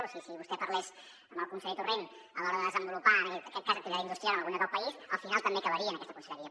o sigui si vostè parlés amb el conseller torrent a l’hora de desenvolupar en aquest cas l’activitat industrial del país al final també acabaria en aquesta conselleria